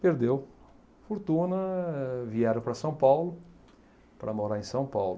Perdeu fortuna, vieram para São Paulo para morar em São Paulo.